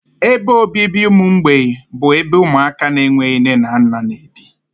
Ebe obibi ụmụ mgbei bụ ebe ụmụaka na-enweghị nne na nna n'ebi